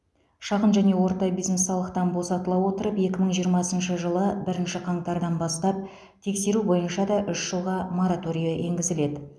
шағын және орта бизнес салықтан босатыла отырып екі мың жиырмасыншы жылы бірінші қаңтардан бастап тексеру бойынша да үш жылға мораторий енгізіледі